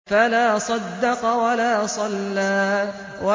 فَلَا صَدَّقَ وَلَا صَلَّىٰ